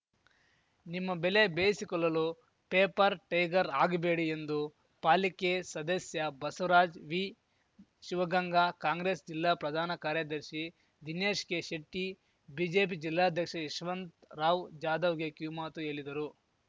ನಿಮ್ಮ ಬೇಲೆ ಬೇಯಿಸಿಕೊಲ್ಲಲು ಪೇಪರ್‌ ಟೈಗರ್‌ ಆಗಬೇಡಿ ಎಂದು ಪಾಲಿಕೆ ಸದಸ್ಯ ಬಸವರಾಜ ವಿ ಶಿವಗಂಗಾ ಕಾಂಗ್ರೆಸ್‌ ಜಿಲ್ಲಾ ಪ್ರಧಾನ ಕಾರ್ಯದರ್ಶಿ ದಿನೇಶ್ ಕೆಶೆಟ್ಟಿ ಬಿಜೆಪಿ ಜಿಲ್ಲಾಧ್ಯಕ್ಷ ಯಶವಂತ್ ರಾವ್‌ ಜಾಧವ್‌ಗೆ ಕಿವಿಮಾತು ಹೇಲಿದರು